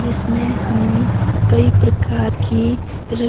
जिसमें हमें कई प्रकार की र--